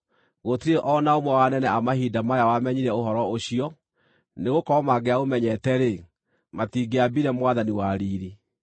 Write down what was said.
Gũtirĩ o na ũmwe wa anene a mahinda maya wamenyire ũhoro ũcio, nĩgũkorwo mangĩaũmenyete-rĩ, matingĩaambire Mwathani wa riiri.